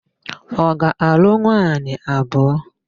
Ọ ga-alụ nwaanyị abụọ?